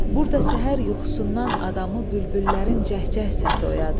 Burda səhər yuxusundan adamı bülbüllərin cəhcəh səsi oyadır.